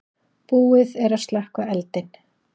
Búið er að slökkva eldinn.